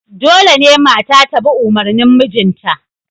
Dole ne mata ta bi umarnin mijinta